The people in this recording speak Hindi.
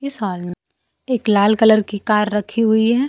इस हाल में एक लाल कलर की कार रखी हुई है।